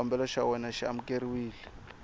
xikombelo xa wena xi amukeriwile